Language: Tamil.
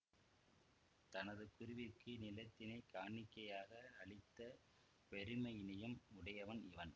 தனது குருவிற்கு நிலத்தினைக் காணிக்கையாக அளித்த பெருமையினையும் உடையவன் இவன்